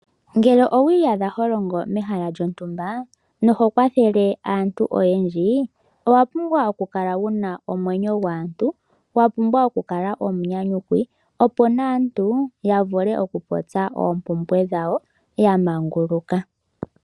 Ngele owi iyadha ho longo mehala lyontumba. Noho kwathele aantu oyendji owa pumbwa oku kala wuna omwenyo gwaantu. Wapumbwa oku kala omunyanyukwi. Opo naantu ya vule oku popya oompumbwe dhawo yamaanguluka.